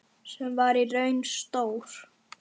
Sem var í raun stór